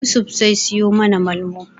Yusuf zai siyo mana Malmo.